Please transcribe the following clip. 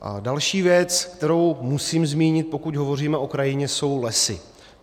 Další věc, kterou musím zmínit, pokud hovoříme o krajině, jsou lesy.